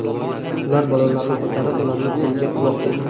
Ular bolalarni ko‘tarib, ularni polga uloqtirgan.